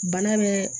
Bana bɛ